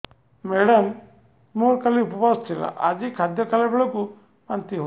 madam ମୋର କାଲି ଉପବାସ ଥିଲା ଆଜି ଖାଦ୍ୟ ଖାଇଲା ବେଳକୁ ବାନ୍ତି ହେଊଛି